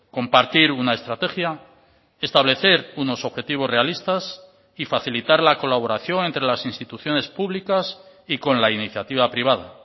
compartir una estrategia establecer unos objetivos realistas y facilitar la colaboración entre las instituciones públicas y con la iniciativa privada